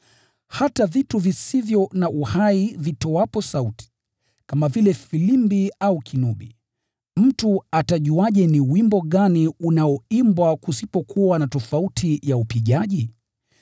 Hata vitu visivyo na uhai vitoapo sauti, kama vile filimbi au kinubi, mtu atajuaje ni wimbo gani unaoimbwa kusipokuwa na tofauti ya upigaji?